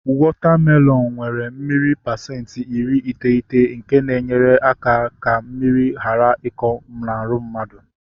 Wọta melọnu nwere mmiri pasenti iri iteghete nke na-enyere aka ka mmiri ghara ịkọ ụkọ n'ahụ mmadụ